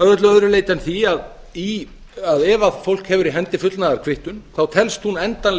að öllu öðru leyti en því að ef fólk hefur í hendi fullnaðarkvittun telst hún endanleg